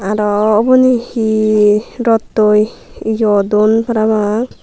aro uboni he rattoi yo duon parapang.